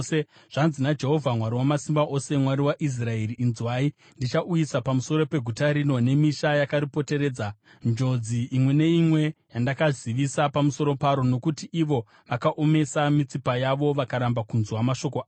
“Zvanzi naJehovha Mwari Wamasimba Ose, Mwari waIsraeri: ‘Inzwai! Ndichauyisa pamusoro peguta rino nemisha yakaripoteredza, njodzi imwe neimwe yandakazivisa pamusoro paro, nokuti ivo vakaomesa mitsipa yavo vakaramba kunzwa mashoko angu.’ ”